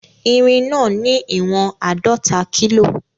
Irin náà ní ìwọ̀n àádọta kílò